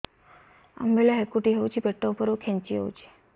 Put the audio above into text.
ଅମ୍ବିଳା ହେକୁଟୀ ହେଉଛି ପେଟ ଉପରକୁ ଖେଞ୍ଚି ହଉଚି